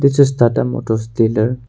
This is tata motors dealer.